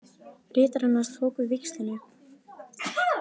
Ritarinn hans tók við víxlinum